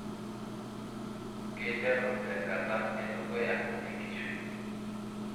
Keiteru tenkata edukuya enkishui.